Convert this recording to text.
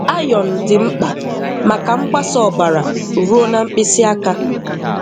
Iron dị mkpa maka mgbasa ọbara rụo na mkpịsị aka.